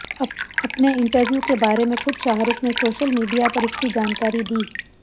अपने इंटरव्यू के बारे में खुद शाहरुख ने सोशल मीडिया पर इसकी जानकारी दी